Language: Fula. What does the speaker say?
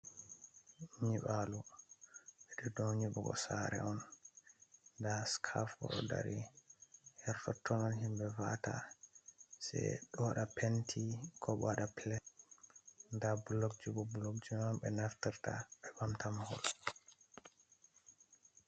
Nyiɓalo ɓe do nyiɓugosa're on, da sikafur ɗo dari, hertotto'on, himɓe va'ata se ɓewaɗa penti, ko ɓewaɗa pilesta, da bulok jibo bulok ji mai on ɓe naftirta ɓe mahirta mahol.